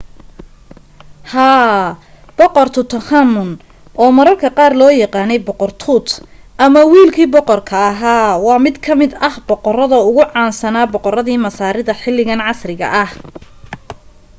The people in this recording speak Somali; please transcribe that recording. haa! boqor tutankhamun oo mararka qaar loo yaqaanay boqor tut” ama wiilkii boqorka ahaa” waa mid ka mid ah boqorada ugu caansana boqoradii masaarida xilligan casriga ah